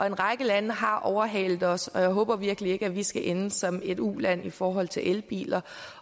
en række lande har overhalet os og jeg håber virkelig ikke at vi skal ende som et uland i forhold til elbiler